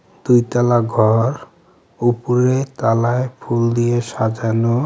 দুইতালা ঘর উপরে তালায় ফুল দিয়ে সাজানো.